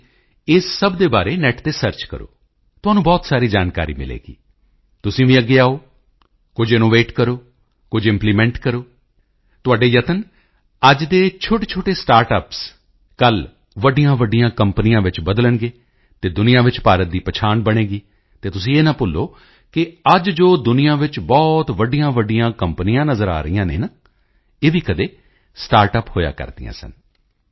ਤੁਸੀਂ ਇਸ ਸਭ ਦੇ ਬਾਰੇ ਨੇਟ ਤੇ ਸਰਚ ਕਰੋ ਤੁਹਾਨੂੰ ਬਹੁਤ ਸਾਰੀ ਜਾਣਕਾਰੀ ਮਿਲੇਗੀ ਤੁਸੀਂ ਵੀ ਅੱਗੇ ਆਓ ਕੁਝ ਇਨੋਵੇਟ ਕਰੋ ਕੁਝ ਇੰਪਲੀਮੈਂਟ ਕਰੋ ਤੁਹਾਡੇ ਯਤਨ ਅੱਜ ਦੇ ਛੋਟੇਛੋਟੇ ਸਟਾਰਟਅਪਸ ਕੱਲ੍ਹ ਵੱਡੀਆਂਵੱਡੀਆਂ ਕੰਪਨੀਆਂ ਵਿੱਚ ਬਦਲਣਗੇ ਅਤੇ ਦੁਨੀਆਂ ਵਿੱਚ ਭਾਰਤ ਦੀ ਪਹਿਚਾਣ ਬਣੇਗੀ ਅਤੇ ਤੁਸੀਂ ਇਹ ਨਾ ਭੁੱਲੋ ਕਿ ਅੱਜ ਜੋ ਦੁਨੀਆਂ ਵਿੱਚ ਬਹੁਤ ਵੱਡੀਆਂਵੱਡੀਆਂ ਕੰਪਨੀਆਂ ਨਜ਼ਰ ਆ ਰਹੀਆਂ ਨੇ ਨਾ ਇਹ ਵੀ ਕਦੀ ਸਟਾਰਟਅਪ ਹੋਇਆ ਕਰਦੀਆਂ ਸਨ